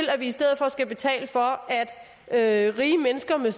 i stedet for skal betale for at rige mennesker med